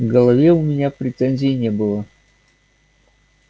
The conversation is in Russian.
к голове у меня претензий не было